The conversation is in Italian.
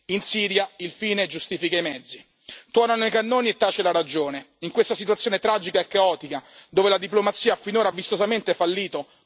In Siria, il fine giustifica i mezzi, tuonano i cannoni e tace la ragione in questa situazione tragica e caotica, dove la diplomazia ha finora vistosamente fallito.